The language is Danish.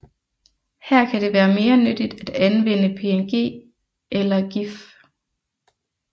Her kan det være mere nyttigt at anvende PNG eller GIF